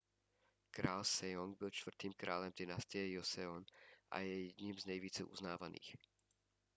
král sejong byl čtvrtým králem dynastie joseon a je jedním z nejvíce uznávaných